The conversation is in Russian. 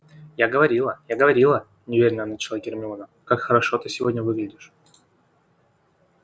я говорила я говорила неуверенно начала гермиона как хорошо ты сегодня выглядишь